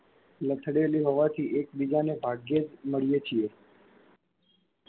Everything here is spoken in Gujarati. લથડેલી હોવાથી એક બીજાને ભાગ્યે જ મળીએ છીયે